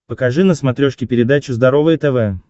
покажи на смотрешке передачу здоровое тв